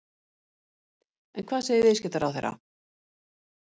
En hvað segir viðskiptaráðherra?